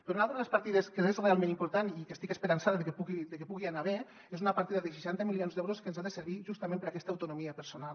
però una altra de les partides que és realment important i que estic esperançada que pugui anar bé és una partida de seixanta milions d’euros que ens ha de servir justament per a aquesta autonomia personal